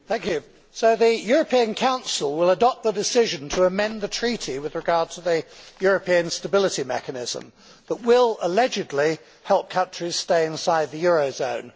Mr President, so the European Council will adopt the decision to amend the Treaty with regard to the European Stability Mechanism, but will allegedly help countries stay inside the eurozone.